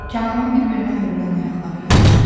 Kənanın bir-birinə hörülən ayaqları yavaşlayır.